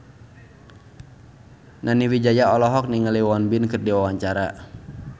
Nani Wijaya olohok ningali Won Bin keur diwawancara